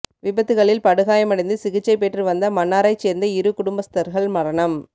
விபத்துக்களில் படுகாயமடைந்து சிகிச்சை பெற்று வந்த மன்னாரைச் சேர்ந்த இரு குடும்பஸ்தர்கள் மரணம்